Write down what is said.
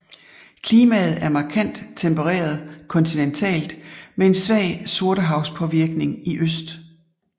Klimaet er markant tempereret kontinentalt med en svag Sortehavspåvirkning i øst